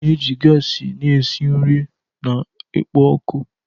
A na-eji gasi na-esi nri na ikpo ọkụ.